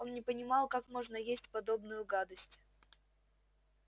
он не понимал как можно есть подобную гадость